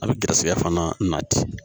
A bɛ garisigɛ fana na ten